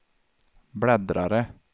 bläddrare